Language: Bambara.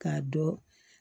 K'a dɔn